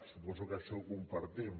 suposo que això ho compartim